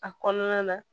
A kɔnɔna na